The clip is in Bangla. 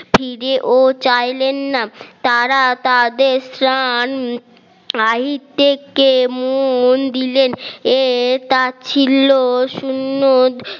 ফিরেও চাইলেন না তারা তাদের স্নান থেকে মন দিলেন এটা ছিল শূন্য